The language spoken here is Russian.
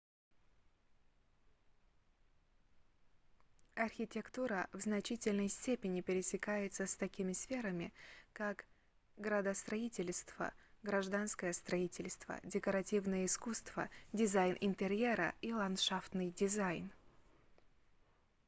архитектура в значительной степени пересекается с такими сферами как градостроительство гражданское строительство декоративное искусство дизайн интерьера и ландшафтный дизайн